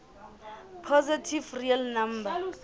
positive real numbers